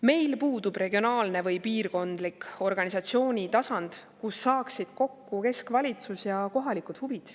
Meil puudub regionaalne või piirkondlik organisatsioonitasand, kus saaksid kokku keskvalitsus ja kohalikud huvid.